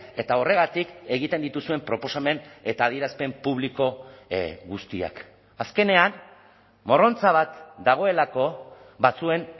eta horregatik egiten dituzuen proposamen eta adierazpen publiko guztiak azkenean morrontza bat dagoelako batzuen